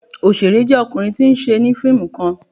Oṣere jẹ ọkunrin ti n ṣẹ ni fiimu kan